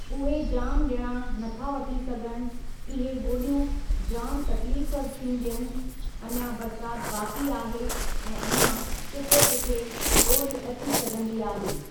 उहे जामु ॼणा न था वठी सघनि इहे ॿोॾियूं जामु तक़लीफ़ थियूं ॾियनि अञा बरसाति बाक़ी आहे ऐं अञा किथे किथे ॿोॾि अची सघंदी आहे।